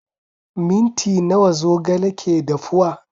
Minti nawa zogale ke dafuwa?